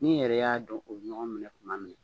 N'i yɛrɛ y'a dɔn u ye ɲɔgɔn minɛ kuma min na